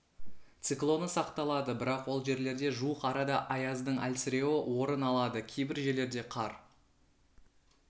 циклоны сақталады бірақ ол жерлерде де жуық арада аяздың әлсіреуі орын алады кейбір жерлерде қар